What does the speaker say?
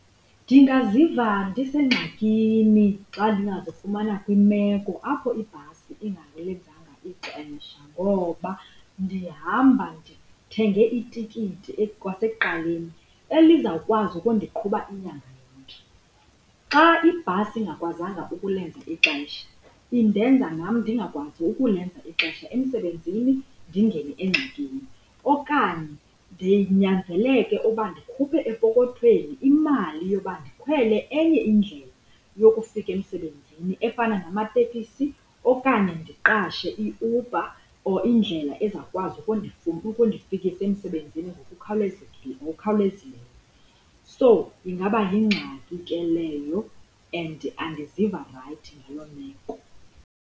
Ndingaziva ndisengxakini xa ndingazifumana kwimeko apho ibhasi engalenzanga ixesha ngoba ndihamba ndithenge itikiti kwasekuqaleni elizawukwazi ukundiqhuba inyanga yonke. Xa ibhasi engakwazanga ukulenza ixesha indenza nam ndingakwazi ukulenza ixesha emsebenzini, ndingene engxakini. Okanye ndinyanzeleke yoba ndikhuphe epokothweni imali yoba ndikhwele enye indlela yokufika emsebenzini efana namatekisi okanye ndiqashe iUber or indlela ezawukwazi ukundifikisa emsebenzini ngokukhawulezileyo. So, ingaba yingxaki ke leyo and andiziva rayithi ngaloo meko.